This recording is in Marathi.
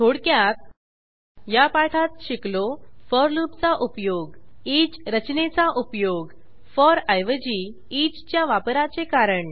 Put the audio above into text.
थोडक्यात या पाठात शिकलो फोर लूपचा उपयोग ईच रचनेचा उपयोग फोर ऐवजी ईच च्या वापराचे कारण